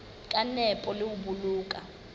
ka nepo le ho boloka